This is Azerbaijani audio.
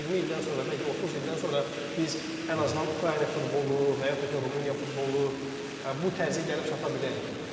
Bəlkə də 20 ildən sonra, bəlkə 30 ildən sonra biz ən azından Ukrayna futbolu və yaxud da ki Rumıniya futbolu bu tərzə gəlib çata bilərik.